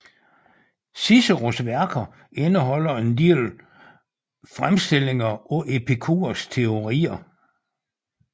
Ciceros værker indeholder en del fremstillinger af Epikurs teorier